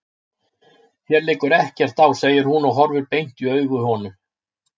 Þér liggur ekkert á, segir hún og horfir beint í augu honum.